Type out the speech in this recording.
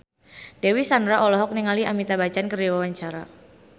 Dewi Sandra olohok ningali Amitabh Bachchan keur diwawancara